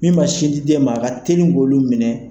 Min ma sin di den ma a ka teli k'olu minɛ.